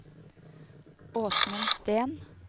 Åsmund Steen